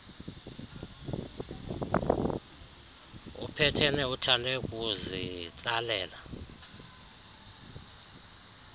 upeteni uthande kuzitsalela